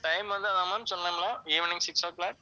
time வந்து அதான் ma'am சொன்னோம்ல evening six o'clock